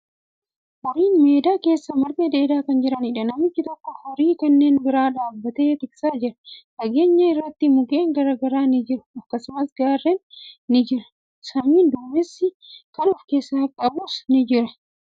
Horiin meedaa keessa marga dheedaa kan jiraniidha. Namichi tokko horii kanneen bira dhaabbatee tiksaa jira. Fageenya irratti mukkeen garagaraa ni jiru. Akkasumas, gaarren ni jiru. Samiin duumessa kan of keessaa qabuudha.